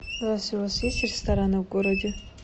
здравствуйте у вас есть рестораны в городе